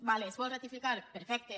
d’acord es vol ratificar perfecte